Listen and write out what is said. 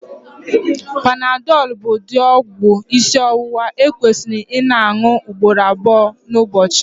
panadol bụ ụdị ọgwụ isi ọwụwa ekwesịrị ịna añu ugboro abụọ n'ụbọchị